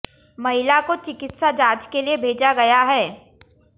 महिला को चिकित्सा जांच के लिए भेजा गया है